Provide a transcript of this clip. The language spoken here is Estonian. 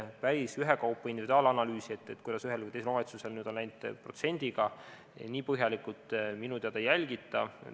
Päris ühekaupa individuaalanalüüsi, kuidas ühel või teisel omavalitsusel on läinud protsendiga, nii põhjalikult minu teada ei tehta.